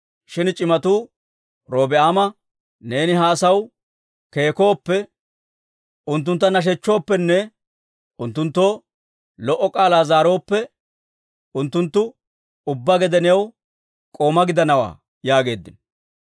Shin c'imatuu Robi'aama, «Neeni ha asaw keekkooppe, unttuntta nashechchooppenne unttunttoo lo"o k'aalaa zaarooppe, unttunttu ubbaa gede new k'oomaa gidanawantta» yaageeddino.